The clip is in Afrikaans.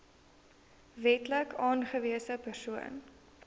wetlik aangewese persoon